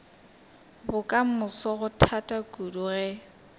bokamoso go thata kudu ge